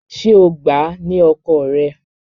Ṣé o gbà á ni ọkọ rẹ?